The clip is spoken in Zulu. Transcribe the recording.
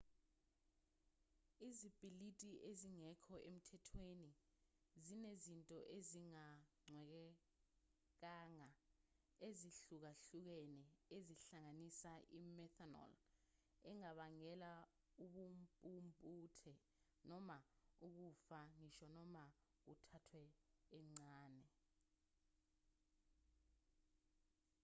izipiliti ezingekho emthethweni zinezinto ezingacwengekanga ezihlukahlukene ezihlanganisa i-methanol engabangela ubumpumputhe noma ukufa ngisho noma kuthathwe encane